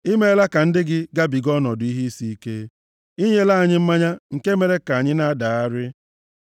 I meela ka ndị gị gabiga ọnọdụ ihe isi ike; i nyela anyị mmanya nke mere ka anyị na-adagharị.